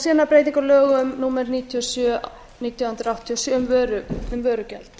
síðan breytingar á lögum númer níutíu og sjö nítján hundruð áttatíu og sjö um vörugjald